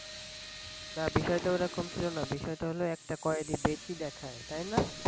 বিষয় টা ওরকম ছিল না, বিষয়টা হল একতা কয়েদি বেশি দেখায়। তাই না?